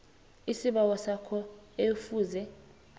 isibawo sakho ekufuze